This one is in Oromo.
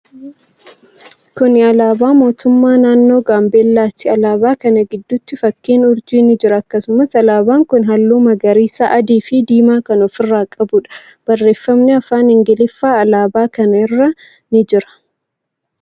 Kuni alaabaa mootummaa naannoo Gaambeellati. Alaabaa kana gidduu fakkiin urjii ni jira. Akkasumas, alaaban kuni haalluu magariisa, adii fi diimaa kan of irraa qabuudha. Barreeffamni afaan Ingiliffaa alaabaa kana irra ni jira.